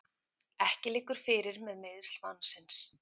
Ekki liggur fyrir með meiðsl mannsins